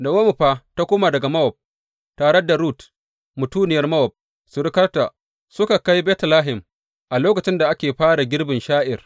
Na’omi fa ta koma daga Mowab tare da Rut mutuniyar Mowab, surukarta, suka kai Betlehem a lokacin da ake fara girbin sha’ir.